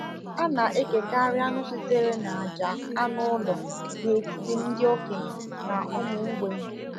A na-ekekarị anụ sitere n’àjà anụ ụlọ n’etiti ndị okenye na ụmụ mgbei.